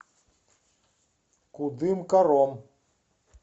кудымкаром